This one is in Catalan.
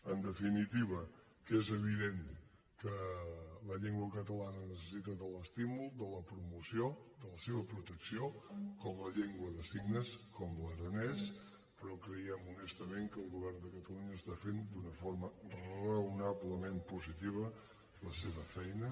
en definitiva que és evident que la llengua catalana necessita l’estímul la promoció la seva protecció com la llengua de signes com l’aranès però creiem honestament que el govern de catalunya està fent d’una forma raonablement positiva la seva feina